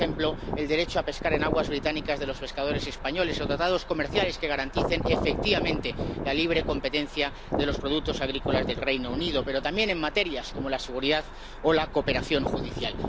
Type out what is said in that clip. Como ejemplo, el derecho a pescar en aguas británicas de los pescadores españoles o tratados comerciales que garanticen efectivamente la libre competencia de los productos agrícolas del Reino Unido, pero también en materias como la seguridad o la cooperación judicial.